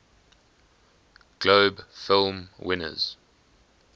globe film winners